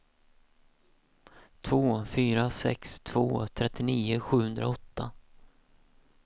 två fyra sex två trettionio sjuhundraåtta